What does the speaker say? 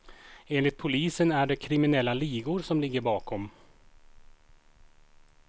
Enligt polisen är det kriminella ligor som ligger bakom.